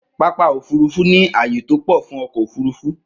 Pápá ofurufu ni aaye to pọ fun ọkọ ofurufu.